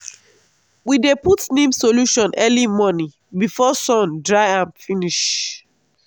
we dey put neem solution early morning before sun dry am finish.